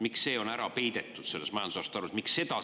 Miks see on selles majandusaasta aruandes ära peidetud?